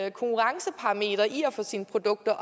et konkurrenceparameter i at få sine produkter